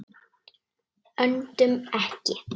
Öndum ekki.